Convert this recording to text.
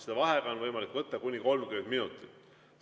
Seda vaheaega on võimalik võtta kuni 30 minutiks.